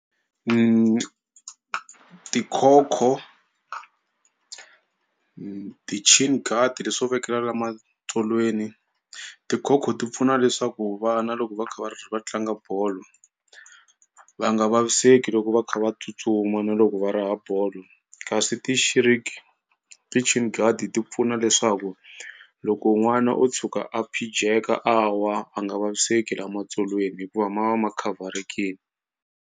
Tikhokho leswo vekelela la matsolweni. Tikhokho ti pfuna leswaku vana loko va kha va va tlanga bolo va nga vaviseki loko va kha va tsutsuma na loko va raha bolo kasi ti pfuna leswaku loko n'wana o tshuka a phijeka a wa a nga vaviseki lamatsolweni hikuva ma va ma khavharekini.